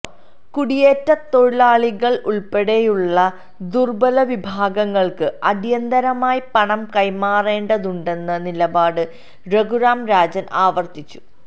കുടിയേറ്റ തൊഴിലാളികളുൾപ്പെടെയുള്ള ദുർബ്ബല വിഭാഗങ്ങൾക്ക് അടിയന്തരമായി പണം കൈമാറേണ്ടതുണ്ടെന്ന നിലപാട് രഘുറാം രാജൻ ആവർത്തിച്ചു